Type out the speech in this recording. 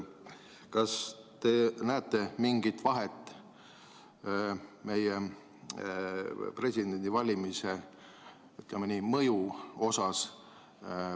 Kas te näete mingit vahet meie presidendivalimise mõju mõttes?